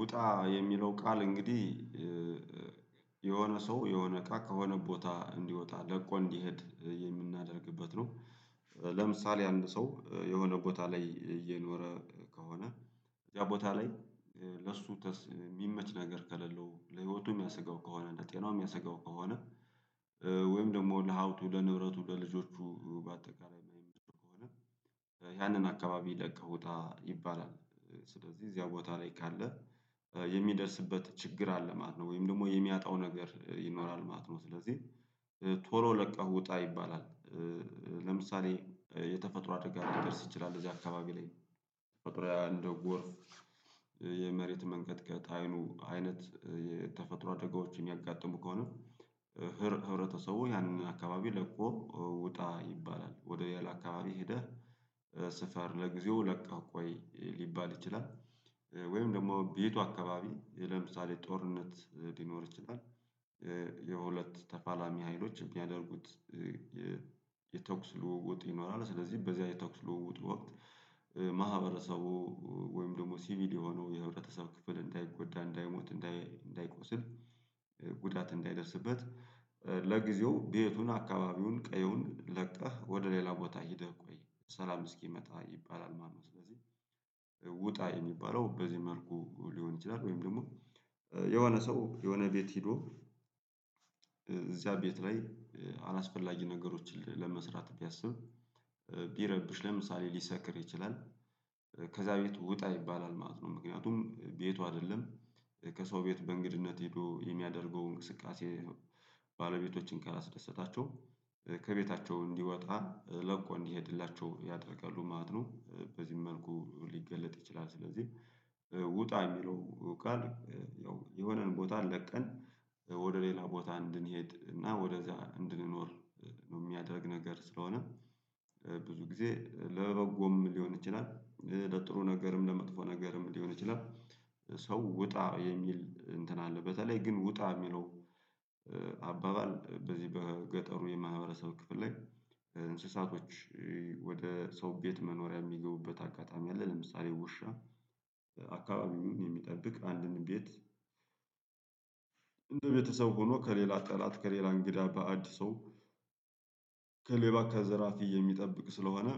ውጣ የሚለው ቃል እንግዲህ የሆነ ሰው የሆነ እቃ ከሆነ ቦታ እንዲወጣ ለቆ እንዲሄድ የምናደርግበት ነው ለምሳሌ አንድ ሰው የሆነ ቦታ ላይ እየኖረ ከሆነ ያቦታ ላይ ለሱ የሚመች ነገር ከሌለው፣ ለህይወቱ ሚያሰጋው ከሆነ፣ ለጤናው ምያሰጋው ከሆነ ወይም ደግሞ ለሃብቱ፣ ለንብረቱ፣ ለልጆቹ፣ በአጠቃላይ መሄድ ከሆነ ያንን አካባቢ ለቅህ ውጣ ይባላል ስለዚህ እዚያው ቦታ ላይ ካለ የሚደርስበት ችግር አለ ማለት ነው ወይም ደግሞ የሚያጣው ነገር ይኖራል ማለት ነው ስለዚህ ቶሎ ለቀህ ውጣ ይባላል ለምሳሌ የተፈጥሮ አደጋ ሊደርስ ይችላል እዚያ አካባቢ ላይ ተፈጥሮ እንደ ጎርፍ የመሬት መንቀጥቀጥ አይኑ አይነት የተፈጥሮ አደጋዎችን ሚያጋጥሙ ከሆነ ህብረተሰቡ ያንን አካባቢ ለቆ ውጣ ይባላል ወደ ያላ አካባቢ ሄደህ ስፈር ለጊዜው ለቀህ ቆይ ሊባል ይችላል ወይም ደግሞ ቤቱ አካባቢ ለምሳሌ ጦርነት ሊኖር ይችላል የሁለት ተፋላሚ ሀይሎች የሚያደርጉት የተኩስ ልውውጥ ይኖራል ስለዚህ በዚያ የተኩስ ልውውጥ ወቅት ማህበረሰቡ ወይም ደግሞ ሲቪል የሆነው የህብረተሰብ ክፍል እንዳይጎዳ፣ እንዳይሞት፣ እንዳይቆስል ጉዳት እንዳይደርስበት ለጊዜው ቤቱን፣ አካባቢውን፣ ቀየውን ለቀህ ወደ ሌላ ቦታ ሄደህ ቆይ ሰላም እስኪመጣ ይባላል ማለት ነው ስለዚህ ውጣ የሚባለው በዚህ መልኩ ሊሆን ይችላል ወይም ደግሞ የሆነ ሰው የሆነ ቤት ሄዶ እዚያ ቤት ላይ አላስፈላጊ ነገሮችን ለመስራት ቢያስብ ቢረብሽ ለምሳሌ ሊሰክር ይችላል ከዛ ቤት ውጣ ይባላል ማለት ነው ምክንያቱም ቤቱ አይደለም ከሰው ቤት በእንግድነት ሄዶ የሚያደርገውን እንቅስቃሴ ባለቤቶችን ካላስደሰታቸው ከቤታቸው እንዲወጣ ለቆ እንዲሄድላቸው ያደርጋሉ ማለት ነው በዚህም መልኩ ሊገለጥ ይችላል ስለዚህ ውጣ የሚለው ያው የሆነን ቦታ ለቀን ወደ ሌላ ቦታ እንድንሄድ እና ወደዛ እንድንኖር የሚያደርግ ነገር ስለሆነ ብዙ ጊዜ ለበጎም ሊሆን ይችላል ለጥሩ ነገርም ለመጥፎ ነገርም ሊሆን ይችላል ሰው ውጣ የሚል እንትን አለ በተለይ ግን ውጣ የሚለው አባባል በዚህ በገጠሩ የማህበረሰብ ክፍል ላይ እንስሳቶች ወደ ሰው ቤት መኖሪያ የሚገቡበት አጋጣሚ አለ ለምሳሌ ውሻ አካባቢውን የሚጠብቅ አንድን ቤት እንደ ቤተሰብ ሆኖ ከሌላ ጠላት ከሌላ እንግዳ በአድ ሰው ከሌባ ከዘራፊ የሚጠብቅ ስለሆነ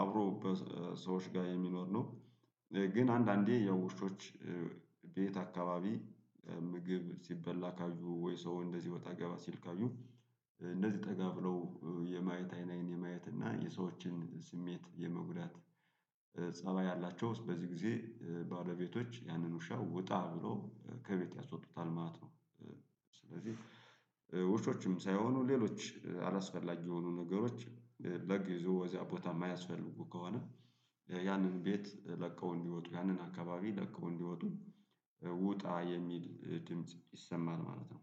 አብሮ በሰዎች ጋር የሚኖር ነው ግን አንዳንዴ ያው ውሾች ቤት አካባቢ ምግብ ሲበላ ካዩ ወይ ሰው እንደዚህ ወጣ ገባ ሲል ካዩ እንደዚህ ጠጋ ብለው የማየት አይን አይን የማየት እና የሰዎችን ስሜት የመጉዳት ፀባይ አላቸው በዚህ ጊዜ ባለቤቶች ያንን ውሻ ውጣ ብሎ ከቤት ያስወጡታል ማለት ነው ስለዚህ ውሾችም ሳይሆኑ ሌሎች አላስፈላጊ የሆኑ ነገሮች ለጊዜው እዚያ ቦታ የማያስፈልጉ ከሆነ ያንን ቤት ለቀው እንዲወጡ ያንን አካባቢ ለቀው እንዲወጡ ውጣ የሚል ድምጽ ይሰማል ማለት ነው።